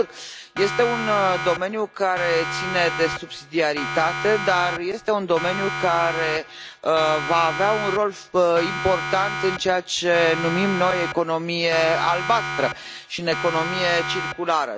Sigur, este un domeniu care ține de subsidiaritate, dar este un domeniu care va avea un rol important în ceea ce numim noi economia albastră și în economia circulară.